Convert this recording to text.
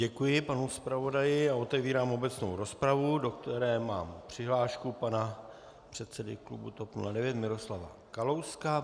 Děkuji panu zpravodaji a otevírám obecnou rozpravu, do které mám přihlášku pana předsedy klubu TOP 09 Miroslava Kalouska.